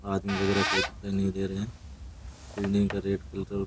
आदमी वगेरह कोई दिखाई नहीं दे रहे हैं बिल्डिंग का रेट --